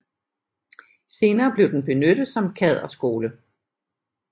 Senere blev den benyttet som kaderskole